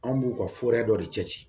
An b'u ka dɔ de cɛ ci